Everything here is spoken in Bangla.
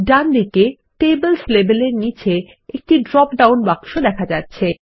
ডানদিকে টেবলস লেবেল এর নীচে একটি ড্রপ ডাউন বাক্স দেখা যাচ্ছে